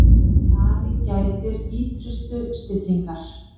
Ari gætti ýtrustu stillingar.